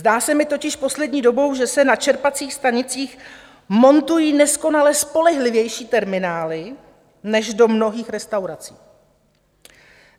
Zdá se mi totiž poslední dobou, že se na čerpacích stanicích montují neskonale spolehlivější terminály než do mnohých restaurací.